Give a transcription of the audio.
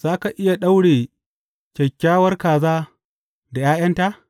Za ka iya daure kyakkyawar kaza da ’ya’yanta?